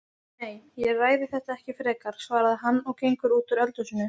Nei, ég ræði þetta ekki frekar, svarar hann og gengur út úr eldhúsinu.